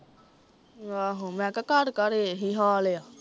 ਆਹੋ ਮੈਂ ਕਿਹਾ ਘਰ ਘਰ ਏਹੀ ਹਾਲ ਆ